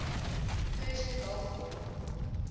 persian gulf war